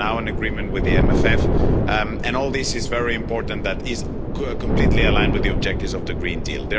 We have now an agreement with the MFF, and all of this is very important that it is completely aligned with the objectives of the Green Deal.